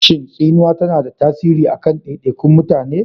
Shin tsinuwa tana da tasiri a kan daidaikun mutane?